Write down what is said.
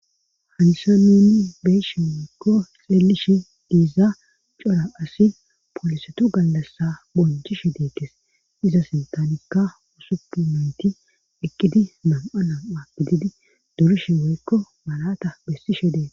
Hayssa nuuni beyishe woykko xeelishe diizaa cora asi poolisetu gallassa bonchishe deettes iza sinththanikka usupun naytti eqqidii nam'a nam'a gididi durrishe woykko malata besishe deettes